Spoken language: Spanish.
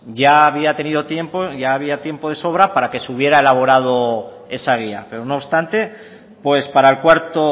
ya había tenido tiempo ya había tiempo de sobra para que se hubiera elaborado esa guía pero no obstante pues para el cuarto